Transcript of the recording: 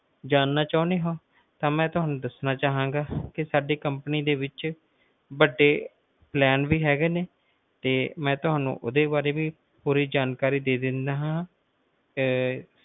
ਜਾਨਣਾ ਚਹੁਣੇ ਹੋ ਤਾਂ ਮਈ ਤੁਹਾਨੂੰ ਦੱਸਣਾ ਚਾਹਂਗਾ ਕਿ ਦ company ਵਿਚ ਵੱਡੇ plan ਵੀ ਹੈਗੇ ਨੇ ਤੇ ਮਈ ਤੁਹਾਨੂੰ ਓਦੇ ਵਾਰੇ ਵੀ ਪੂਰੀ ਜਾਣਕਾਰੀ ਦੇ ਦਿੰਦਾ ਹਾਂ